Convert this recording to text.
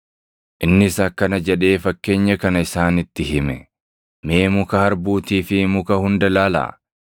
Innis akkana jedhee fakkeenya kana isaanitti hime; “Mee muka harbuutii fi muka hunda ilaalaa.